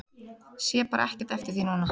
Sé bara ekkert eftir því núna.